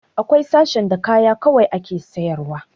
Akwai sashen da kaya kawai ake sayar wa